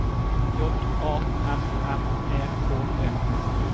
J A N N E K E